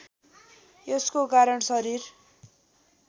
यसको कारण शरीर